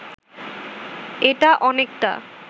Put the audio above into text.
এটা অনেকটা